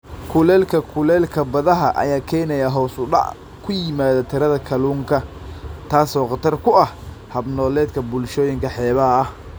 Kulaylka kulaylka badaha ayaa keenaya hoos u dhac ku yimaada tirada kalluunka, taas oo khatar ku ah hab-nololeedka bulshooyinka xeebaha ah.